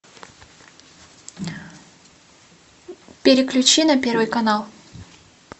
переключи на первый канал